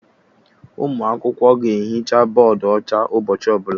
Ụmụ akwụkwọ ga ehicha bọdụ ọcha ụbọchị ọbụla